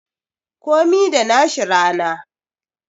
Komi da nashi rana